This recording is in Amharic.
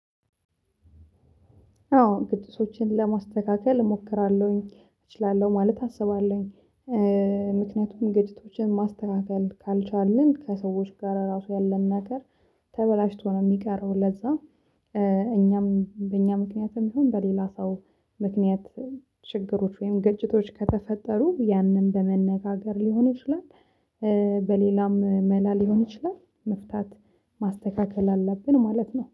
አዎ ድግሶችን ለማስተካከል እሞክራለሁኝ እችላለሁ ማለት አስባለሁኝ። ምክንያቱም ግጭቶችን ማስተካከል ካልቻልን ከሰዎች ጋር ራሱ ያለን ነገር ተበላሽቶ ነው የሚቀረው። ለዛ እኛም በእኛ ምክንያትም ይሁን በሌላ ሰው ምክንያት ችግሮች ወይም ግጭቶች ከተፈጠሩ ያንን በመነጋገር ሊሆን ይችላል። በሌላም መላ ሊሆን ይችላል መፍታት ማስተካከል አለብን ማለት ነው